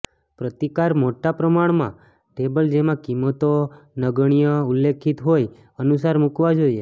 પ્રતિકાર મોટા પ્રમાણમાં ટેબલ જેમાં કિંમતો નગણ્ય ઉલ્લેખિત હોય અનુસાર મૂકવા જોઈએ